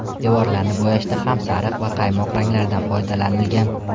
Devorlarni bo‘yashda ham sariq va qaymoq ranglardan foydalanilgan.